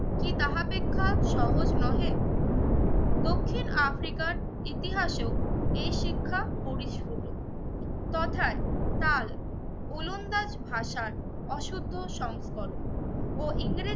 কি তাহাপেক্ষা সহজ নহে? দক্ষিণ আফ্রিকার ইতিহাসেও এই শিক্ষা পরিস্ফুট তথায় কাল উলন্দাছ ভাষার অশুদ্ধ সংস্করণ ও ইংরেজি